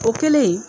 O kɛlen